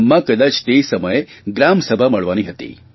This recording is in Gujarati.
તો ગામમાં કદાચ તે સમયે ગ્રામસભા મળવાની હતી